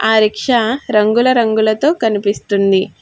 ఆ రిక్షా రంగుల రంగులతో కనిపిస్తుంది.